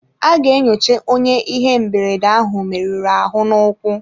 A ga-enyocha onye ihe mberede ahụ merụrụ ahụ n'ụkwụ.